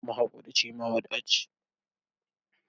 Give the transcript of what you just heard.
Mahaƙurci, mawadaci ne.